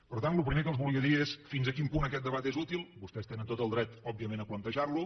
per tant el primer que els volia dir és fins a quin punt aquest debat és útil vostès tenen tot el dret òbviament a plantejar lo